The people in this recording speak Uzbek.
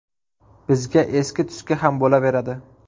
Bizga eski-tuski ham bo‘laveradi.